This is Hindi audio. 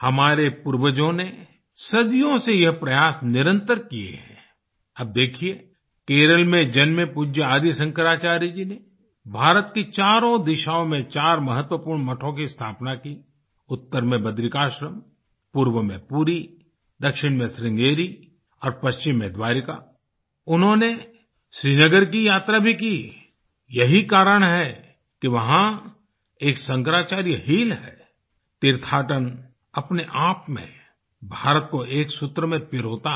हमारे पूर्वजों ने सदियों से ये प्रयास निरंतर किए हैं आई अब देखिये केरल में जन्मे पूज्य आदि शंकराचार्य जी ने भारत की चारों दिशाओं में चार महत्वपूर्ण मठों की स्थापना की उत्तर में बद्रिकाश्रम पूर्व में पूरी दक्षिण में श्रृंगेरी और पश्चिम में द्वारका आई उन्होंने श्रीनगर की यात्रा भी की यही कारण है कि वहाँ एक शंक्राचार्य हिल है आई तीर्थाटन अपने आप में भारत को एक सूत्र में पिरोता है